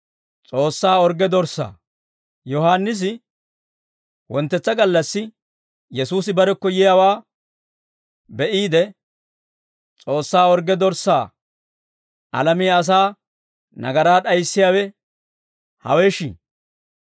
Yohaannisi wonttetsa gallassi Yesuusi barekko yiyaawaa be'iide, «S'oossaa orgge dorssaa, Alamiyaa asaa nagaraa d'ayissiyaawe, hawesh!